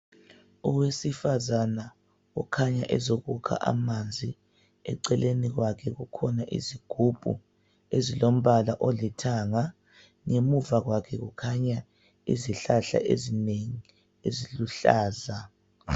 Owesifazana okhanya ezokukha amanzi. Eceleni kwakhe kukhona izigubhu ezilombala olithanga. Ngemva kwakhe kukhanya izihlahla ezinengi eziluhlaza.